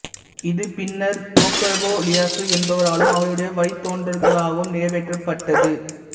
இது பின்னர் Tokugawa Ieyasu என்பவராலும் அவருடைய வழித்தோன்றல்களாலும் நிறைவேற்றப்பட்டது